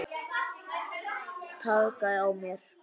Traðka á mér!